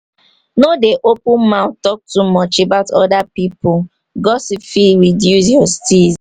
no dey open mouth talk too much about oda pipo gossip fit reduce your steeze